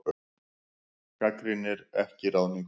Gagnrýnir ekki ráðningu